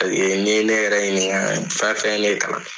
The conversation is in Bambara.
ni ye ne yɛrɛ ɲininka fɛn fɛn ye ne kalan